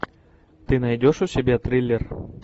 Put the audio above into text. ты найдешь у себя триллер